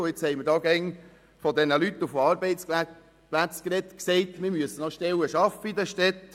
Wir haben hier immer von diesen Leuten und von Arbeitsplätzen gesprochen und davon, dass wir noch Stellen in den Städten schaffen müssen.